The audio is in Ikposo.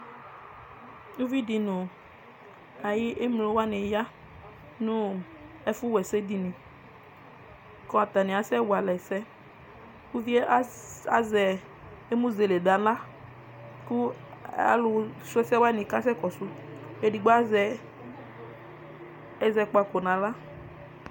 Ʋvidi nʋ ayʋ emlo wani ya nʋ ɛfʋwa ɛsɛdini kʋ atani asɛ walʋ ɛsɛ kʋ ʋvie azɛ emʋzele nʋ aɣla kʋ alʋsʋ ɛsɛ wani kasɛ kɔsʋ ɛdigbo azɛ ɛzɔkpako nʋ aɣla